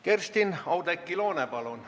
Kerstin-Oudekki Loone, palun!